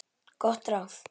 Gott ráð.